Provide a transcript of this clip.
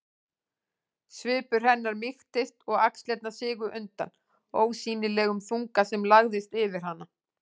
Svipur hennar mýktist og axlirnar sigu undan ósýnilegum þunga sem lagðist yfir hana.